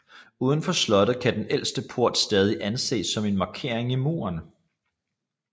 Uden for slottet kan den ældste port stadig anes som en markering i muren